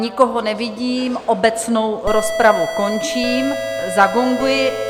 Nikoho nevidím, obecnou rozpravu končím, zagonguji.